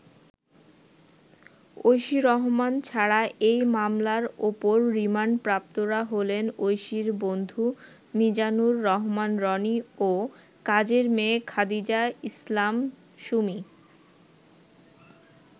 ঐশী রহমান ছাড়া এই মামলার অপর রিমান্ডপ্রাপ্তরা হলেন ঐশির বন্ধু মিজানুর রহমান রনি ও কাজের মেয়ে খাদিজা ইসলাম সুমি।